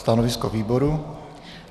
Stanovisko výboru?